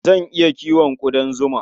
Zan iya kiwon ƙudan zima.